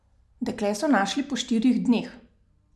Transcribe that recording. Dekle so našli po štirih dneh.